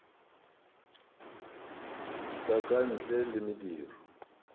sa ka ntle le mediro